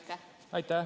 Aitäh!